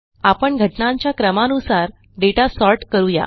आपण घटनांच्या क्रमानुसार दाता सॉर्ट करू या